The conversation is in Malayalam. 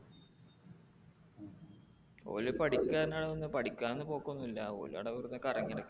ഓൻ പഠിക്കാൻ ആണ് വന്നേ. പഠിക്കാൻ ഒന്നും പോക്കൊന്നും ഇല്ല ഓള് അവിടെ വെറുതെ കറങ്ങി നടക്കാണ്